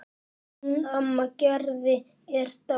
Hún amma Gerða er dáin.